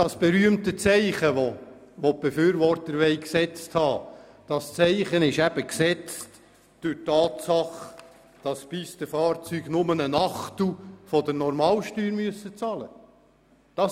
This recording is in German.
Das berühmte Zeichen, das die Befürworter gerne haben möchten, ist durch die Tatsache gesetzt, dass Pistenfahrzeuge nur einen Achtel der Normalsteuer bezahlen müssen.